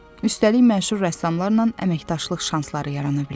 Üstəlik məşhur rəssamlarla əməkdaşlıq şansları yarana bilər.